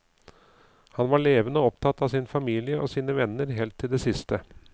Han var levende opptatt av sin familie og sine venner helt til det siste.